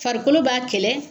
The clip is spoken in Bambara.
Farikolo b'a kɛlɛ